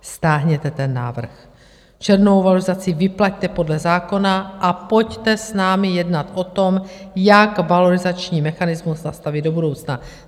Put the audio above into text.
Stáhněte ten návrh, červnovou valorizaci vyplaťte podle zákona a pojďte s námi jednat o tom, jak valorizační mechanismus nastavit do budoucna.